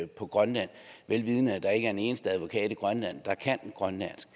på grønland vel vidende at der ikke er en eneste advokat i grønland der kan grønlandsk